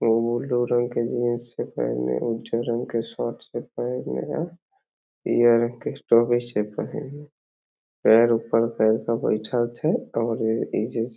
एगो बुलु रंग के जीन्स छीके एमे उजर रंग के शर्ट छीके पीयर रंग के बइठल छे और --